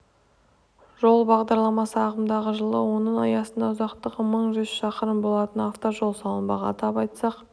жол бағдарламасы ағымдағы жылы оның аясында ұзақтығы мың жүз шақырым болатын автожол салынбақ атап айтсақ